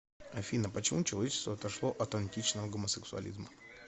афина почему человечество отошло от античного гомосексуализма